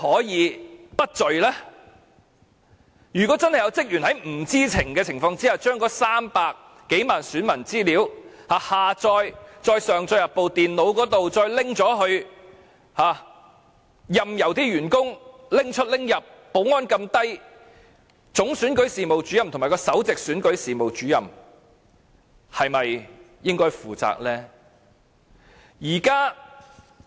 如果真有職員在不知情的情況下，將300多萬名選民的資料下載，再上載至電腦，然後又任由員工把資料帶出帶入，保安這麼鬆懈，總選舉事務主任和首席選舉事務主任是否應該負責呢？